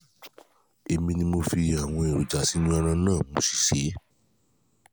èmi ni mo fi fi àwọn èròjà yìí sínú ẹran náà mo sì sè é